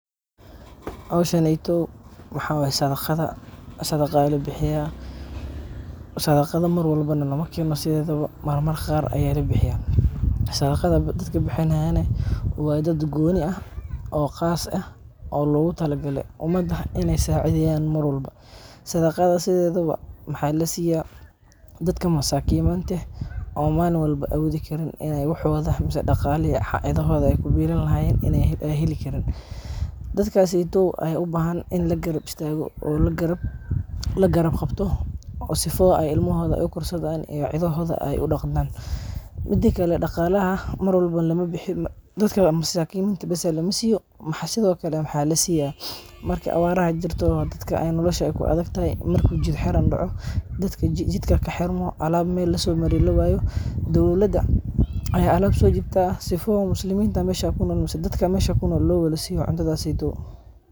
Hawshaneydo waxawaye sadaqadha sadaqa aya labihiya, sadaqadha na marwalba lamakeeno sidhedhaba marmar qaar aya alabixiya. Sadaqadha dadka bixinayan waa daad gooni aah oo khas ah oo lagutalagale umada inay sacidheyaan marwalba. Sadaqadha sidhedhaba maxa lasiya daadka masakimanta eeh oo malin walba woodhi karin inay wax ama daqalihi ay cidhodha ay ku billan lahayeen ay heli kariin. Dadkasyto ay ubahan in laqarab istaqo oo laqarab qabto oo sifo oo ilmohoodha ay ukursadhan ay cidhodha ay udaqadaan. Midakale daqalaha mawrwalba lama bixiyo dadka masakiminta baas lamasiyo mxa sidha okale maxa lasiya marka awaraha jirto dadka ay noolasha ku adagtahay marka jid xiram daaco dadka jidka kaxirmo aalab meel lasoomari lawayo dawlaad aya alaab soo dibta sifo ay musliminta meesha kunola ama dadka mesha kunool lo wadsiyon cuntadhaas.